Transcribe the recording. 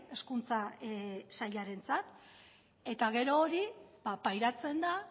hezkuntza sailarentzat eta gero hori pairatzen da